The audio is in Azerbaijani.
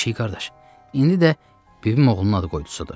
Pişik qardaş, indi də bibim oğlunun ad qoydusudur.